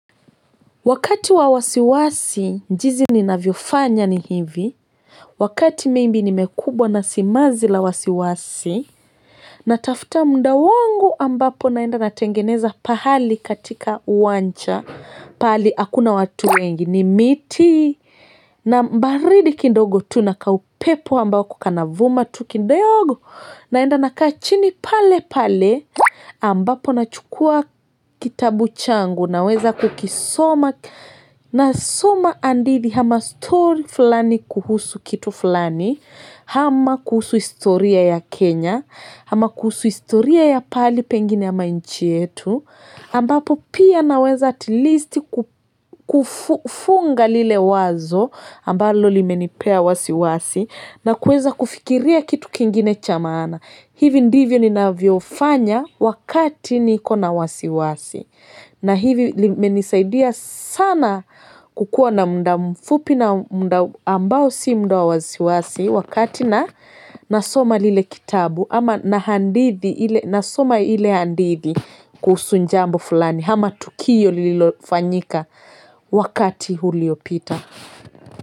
Wakati wawasiwasi, jinsi ninavyofanya ni hivi. Wakati mimi maybe nimekubwa na simazi la wasiwasi. Natafuta muda wangu ambapo naenda natengeneza pahali katika uwanja pahali hakuna watu wengi ni miti. Na baridi kidogo tu naka upepo ambako kanavuma tu kindogo. Naenda nakaa chini pale pale ambapo nachukua kitabu changu. Naweza kukisoma, nasoma hadithi ama story fulani kuhusu kitu fulani, ama kuhusu historia ya Kenya, hama kuhusu historia ya pahali pengine ama nchi yetu, ambapo pia naweza at least kufunga lile wazo ambalo limenipea wasi wasi, na kuweza kufikiria kitu kingine cha maana. Hivi ndivyo ni navyofanya wakati niko na wasiwasi na hili limenisaidia sana kukuwa na muda mfupi na ambao si muda wa wasiwasi wakati na nasoma lile kitambo, ama na hadithi ma nasoma ile hadithi kuhusu jambo fulani ama tukio lililofanyika wakati uliyopita.